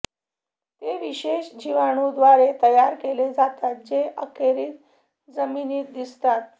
ते विशेष जीवाणू द्वारे तयार केले जातात जे अखेरीस जमिनीत दिसतात